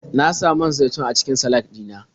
Na sa man zaitun a cikin salak ɗina.